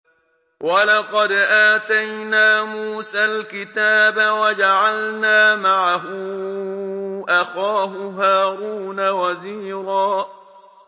وَلَقَدْ آتَيْنَا مُوسَى الْكِتَابَ وَجَعَلْنَا مَعَهُ أَخَاهُ هَارُونَ وَزِيرًا